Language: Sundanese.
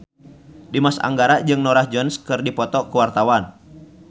Dimas Anggara jeung Norah Jones keur dipoto ku wartawan